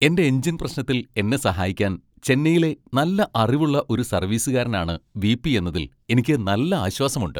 എന്റെ എഞ്ചിൻ പ്രശ്നത്തിൽ എന്നെ സഹായിക്കാൻ ചെന്നൈയിലെ നല്ല അറിവുള്ള ഒരു സർവീസുകാരൻ ആണ് വി.പി. എന്നതിൽ എനിക്ക് നല്ല ആശ്വാസമുണ്ട്.